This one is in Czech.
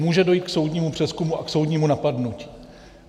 Může dojít k soudnímu přezkumu a k soudnímu napadnutí.